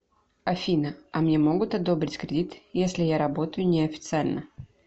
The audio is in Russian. афина а мне могут одобрить кредит если я работаю не официально